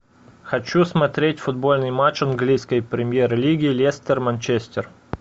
хочу смотреть футбольный матч английской премьер лиги лестер манчестер